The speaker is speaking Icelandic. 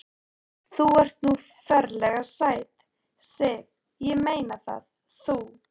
Þú ert nú ferlega sæt, Sif. ég meina það. þú.